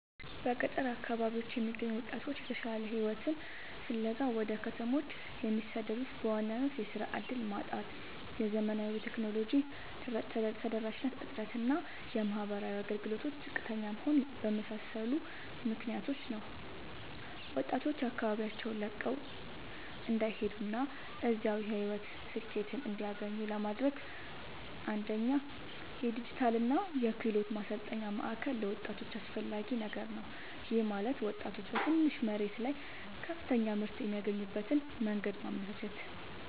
በገጠር አካባቢዎች የሚገኙ ወጣቶች የተሻለ ሕይወትን ፍለጋ ወደ ከተሞች የሚሰደዱት በዋናነት የሥራ ዕድል ማጣት፣ የዘመናዊ ቴክኖሎጂ ተደራሽነት እጥረት እና የማኅበራዊ አገልግሎቶች ዝቅተኛ መሆን በመሳሰሉ ምክኒያቶች ነው። ወጣቶች አካባቢያቸውን ለቀው እንዳይሄዱና እዚያው የሕይወት ስኬትን እንዲያገኙ ለማድረግ፣ አንደኛ የዲጂታልና የክህሎት ማሠልጠኛ ማእከል ለወጣቶች አስፈላጊ ነገር ነው። ይህም ማለት ወጣቶች በትንሽ መሬት ላይ ከፍተኛ ምርት የሚያገኙበትን መንገድ ማመቻቸት፣